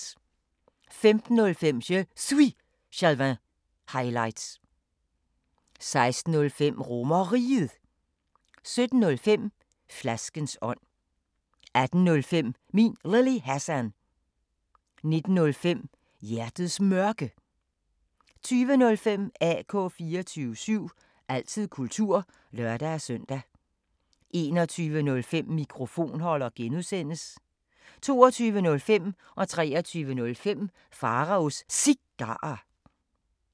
15:05: Je Suis Jalving – highlights 16:05: RomerRiget 17:05: Flaskens ånd 18:05: Min Lille Hassan 19:05: Hjertets Mørke 20:05: AK 24syv – altid kultur (lør-søn) 21:05: Mikrofonholder (G) 22:05: Pharaos Cigarer 23:05: Pharaos Cigarer